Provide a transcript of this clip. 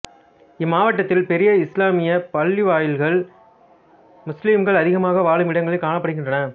இம்மாவட்டத்தில் பெரிய இசுலாமிய பள்ளிவாயில்கள் முசுலிம்கள் அதிகமாக வாழும் இடங்களில் காணப்படுகின்றன